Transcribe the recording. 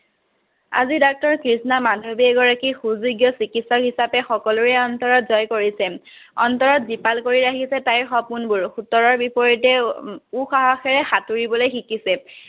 আজি ডাক্তৰ কৃঞ্চা মাধৱী এগৰাকী সুযোগ্য চিকিত্সক হিচাপে সকলোৰে অন্তৰত জয় কৰিছে। অন্তৰত জীপাল কৰি আহিছে তাইৰ সপোনবোৰ, সোতৰ বিপৰীতে সাতুৰিবলৈ শিকিছে।